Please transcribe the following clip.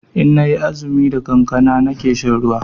Inna yi azumi da kankana nake shan ruwa